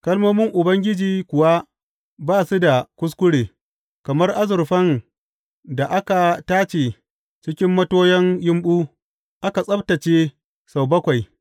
Kalmomin Ubangiji kuwa ba su da kuskure, kamar azurfan da aka tace cikin matoyan yumɓu, aka tsabtacce sau bakwai.